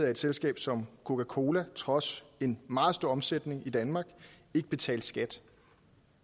at et selskab som coca cola trods en meget stor omsætning i danmark ikke betalte skat